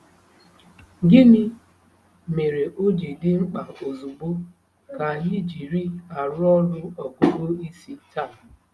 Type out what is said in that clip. Gịnị mere o ji dị mkpa ozugbo ka anyị jiri arụ ọrụ ọgụgụ isi taa?